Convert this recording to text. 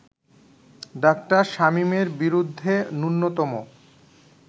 ডা. শামীমের বিরুদ্ধে ন্যূনতম